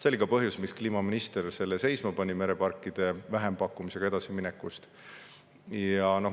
See oli ka põhjus, miks kliimaminister mereparkide vähempakkumisega edasimineku seisma pani.